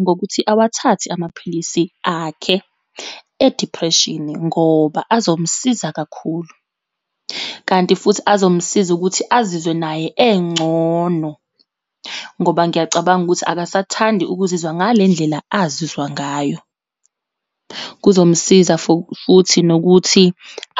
ngokuthi awathathe amaphilisi akhe e-depression, ngoba azomsiza kakhulu. Kanti futhi azomsiza ukuthi azizwe naye engcono, ngoba ngiyacabanga ukuthi akasathandi ukuzizwa ngale ndlela azizwa ngayo. Kuzomsiza for futhi nokuthi